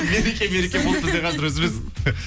мереке мереке болды бізде қазір үзіліс